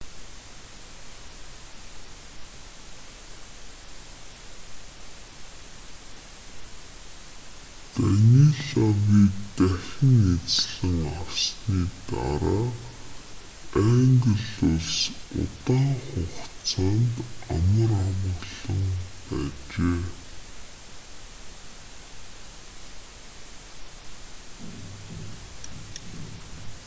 данилавыг дахин эзлэн авсаны дараа англи улс удаан хугацаанд амар амгалан байжээ